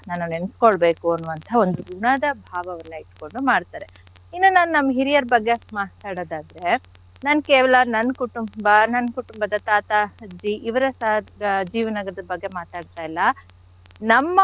ನೆನ್ಸ್ಕೊಳ್ಬೇಕು ಅನ್ನುವಂಥಹ ಒಂದು ಋಣದ ಭಾವವನ್ನ ಇಟ್ಕೊಂಡು ಮಾಡ್ತಾರೆ. ಇನ್ನು ನಾನ್ ನಮ್ ಹಿರಿಯರ ಬಗ್ಗೆ ಮಾತಾಡೋದಾದ್ರೆ ನಾನ್ ಕೇವಲ ನನ್ ಕುಟುಂಬ ನನ್ ಕುಟುಂಬದ ತಾತ ಅಜ್ಜಿ ಇವರ ಸ~ ಆ ಜೀವನದ ಬಗ್ಗೆ ಮಾತಾಡ್ತಾ ಇಲ್ಲ ನಮ್ಮ.